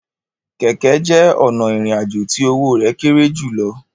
Kẹkẹ jẹ ọna irin àjò ti owo rẹ kéré julọ